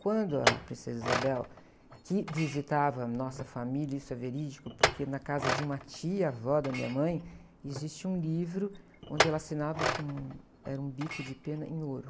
Quando a Princesa Isabel, que visitava a nossa família, isso é verídico, porque na casa de uma tia avó da minha mãe, existe um livro onde ela assinava com, era um bico de pena em ouro.